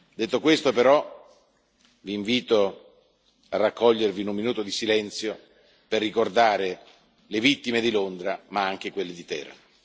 Detto questo, però, vi invito a raccogliervi in un minuto di silenzio, per ricordare le vittime di Londra, ma anche quelle di Teheran.